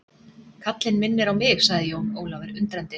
Kallinn minnir á mig, sagði Jón Ólafur undrandi.